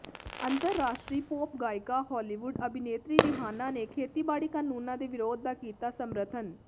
ਅੰਤਰਰਾਸ਼ਟਰੀ ਪੌਪ ਗਾਇਕਾ ਹਾਲੀਵੁੱਡ ਅਭਿਨੇਤਰੀ ਰਿਹਾਨਾ ਨੇ ਖੇਤੀਬਾੜੀ ਕਾਨੂੰਨਾਂ ਦੇ ਵਿਰੋਧ ਦਾ ਕੀਤਾ ਸਮਰਥਨ